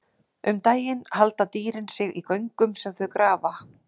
Um daginn halda dýrin sig í göngum sem þau grafa.